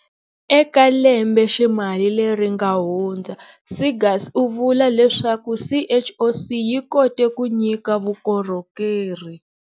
Eka lembeximali leri nga hundza, Seegers u vula leswaku CHOC yi kote ku nyika vukorhokeri.